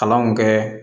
Kalanw kɛ